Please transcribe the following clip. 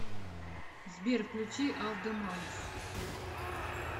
сбер включи алдемарс